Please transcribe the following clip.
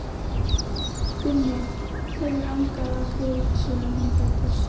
Gunni hefur angað af grút síðan hann fæddist.